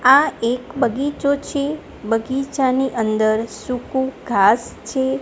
આ એક બગીચો છે બગીચાની અંદર સુકુ ઘાસ છે.